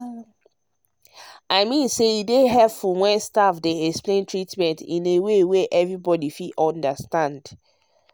i mean say e dey helpful when staff dey explain treatment in way wey everybody fit understand.